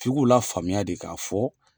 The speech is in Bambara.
Fi k'u la faamuya de k'a fɔ